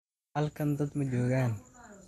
Halkan dad ma joogaan